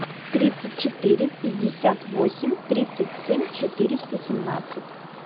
тридцать четыре пятьдесят восемь тридцать семь четыреста семнадцать